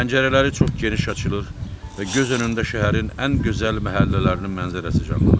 Pəncərələri çox geniş açılır və göz önündə şəhərin ən gözəl məhəllələrinin mənzərəsi canlanırdı.